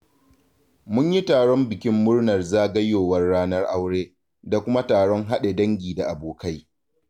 Mun yi taron bikin murnar zagayowar ranar aure, da kuma taron haɗe da dangi da abokai.